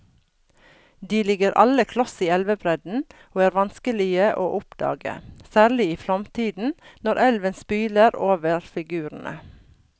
De ligger alle kloss i elvebredden og er vanskelige å oppdage, særlig i flomtiden når elven spyler over figurene.